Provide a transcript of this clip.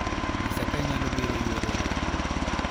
nyisa ka ibiro nyalo yuoro e romo